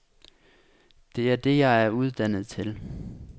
Det er det jeg er uddannet til.